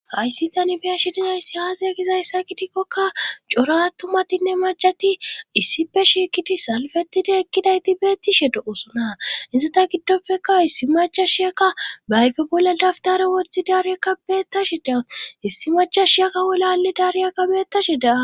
Hayssi tani biyashi dizayssi haazae gizayssa kidikkokka cora tumatinne majati issife shiikidi salfetidi ekkidayti beettishe do7osuna inzata giddopfeka issi maca shiyaka baayfe bolla dafdare woththi daariyekkabeettashe daa issi macha shiyaka wolale daariyaka beettashe daa..